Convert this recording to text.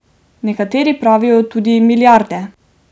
Nekateri pravijo tudi milijarde.